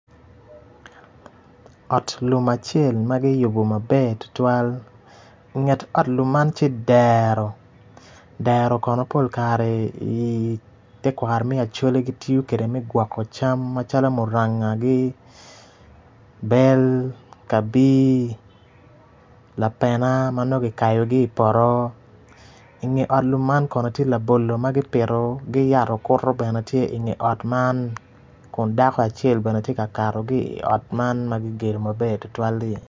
Ot lum acel ma kiyubo maber tutwal inget ot lum man tye dero dero kono pol kare ite kwaro me Acholi kitiyo kwede me gwoko cam macalo murangagi, bel, kabir, lapena ma nongo kikayo ki i poto inge ot lum man kono tye labolo ma kipito ki yat okuto bene tye inge ot man kun dako acel bene tye ka kato ki i ot man ma kigedo maber tutwal-li.